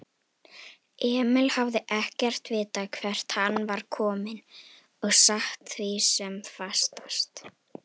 Emil hafði ekkert vitað hvert hann var kominn og sat því sem fastast.